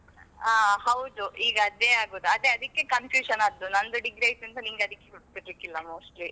ಹಾ ಹೌದು ಈಗ ಅದೇ ಆಗುದು ಅದೇ ಅದಕ್ಕೆ confusion ಆದ್ದು. ನಂದು degree ಆಯ್ತಂತ ನಿಂಗೆ ಅದಕ್ಕೆ ಗೊತ್ತಾಗ್ಲಿಕ್ಕೆ ಇಲ್ಲ mostly.